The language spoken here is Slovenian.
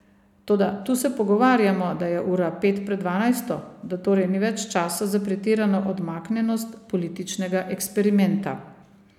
Toda tu se pogovarjamo, da je ura pet pred dvanajsto, da torej ni več časa za pretirano odmaknjenost političnega eksperimenta.